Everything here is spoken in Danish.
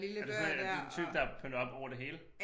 Er du sådan er den type der pynter op over det hele?